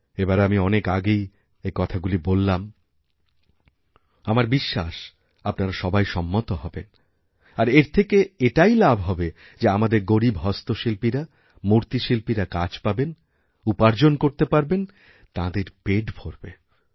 এবারআমি অনেক আগেই এই কথাগুলি বললাম আমার বিশ্বাস আপনারা সবাই সম্মত হবেন আর এর থেকেএটাই লাভ হবে যে আমাদের গরীব হস্তশিল্পীরা মূর্তিশিল্পীরা কাজ পাবেন উপার্জনকরতে পারবেন তাঁদের পেট ভরবে